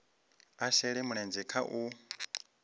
a shele mulenzhe kha u